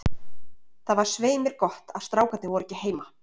Það var svei mér gott að strákarnir voru ekki heima.